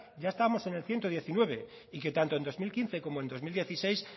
ya estábamos en el ciento diecinueve y que tanto en dos mil quince como en dos mil dieciséis